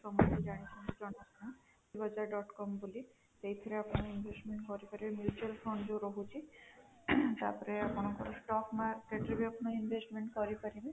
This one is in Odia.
ତମେ ବି ଜାଣିଛ bajaj dot com ବୋଲି ସେଇଥିରେ ଆପଣ investment କରିପାରିବେ mutual fund ଯୋଉ ରହୁଛି ତାପରେ ଆପଣ stock market ରେ ମଧ୍ୟ ଆପଣ investment କରି ପାରିବେ